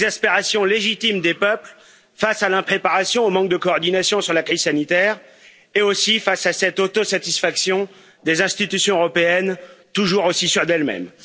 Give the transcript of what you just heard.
L'exaspération légitime des peuples face à l'impréparation et au manque de coordination sur la crise sanitaire, et aussi face à cette autosatisfaction des institutions européennes, toujours aussi sûres d'elles mêmes.